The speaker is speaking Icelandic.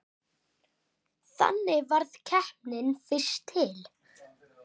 Þannig varð keppnin fyrst til.